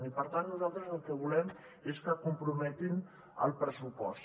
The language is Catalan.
i per tant nosaltres el que volem és que hi comprometin el pressupost